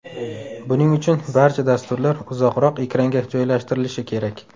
Buning uchun barcha dasturlar uzoqroq ekranga joylashtirilishi kerak.